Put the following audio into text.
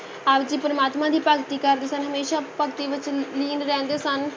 ਆਪ ਜੀ ਪ੍ਰਮਾਤਮਾ ਦੀ ਭਗਤੀ ਕਰਦੇ ਸਨ, ਹਮੇਸ਼ਾ ਭਗਤੀ ਵਿੱਚ ਲੀਨ ਰਹਿੰਦੇ ਸਨ।